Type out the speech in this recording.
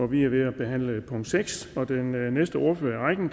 vi er ved at behandle punkt seks og den næste ordfører i rækken